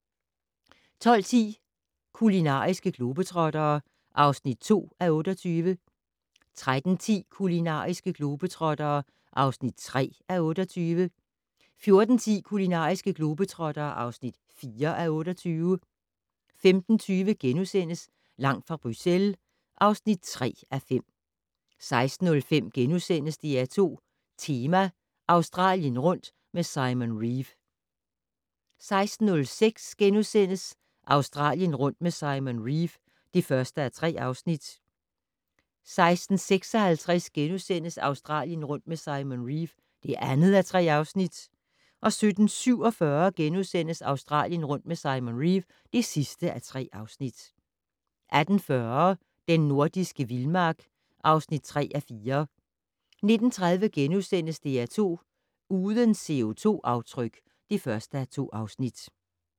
12:10: Kulinariske globetrottere (2:28) 13:10: Kulinariske globetrottere (3:28) 14:10: Kulinariske globetrottere (4:28) 15:20: Langt fra Bruxelles (3:5)* 16:05: DR2 Tema - Australien rundt med Simon Reeve * 16:06: Australien rundt med Simon Reeve (1:3)* 16:56: Australien rundt med Simon Reeve (2:3)* 17:47: Australien rundt med Simon Reeve (3:3)* 18:40: Den nordiske vildmark (3:4) 19:30: DR2 Uden CO2-aftryk (1:2)*